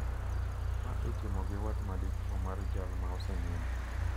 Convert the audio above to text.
Ma itimo gi wat madichuo mar jal ma mosenindo.